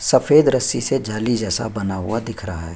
सफेद रस्सी से जाली जैसा बना हुआ दिख रहा है।